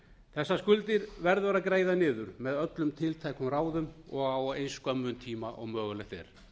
þessar skuldir verður að greiða niður með öllum tiltækum ráðum og á eins skömmum tíma sem mögulegt er